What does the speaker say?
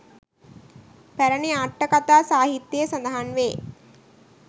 පැරණි අට්ඨකතා සාහිත්‍යයෙහි සඳහන් වේ.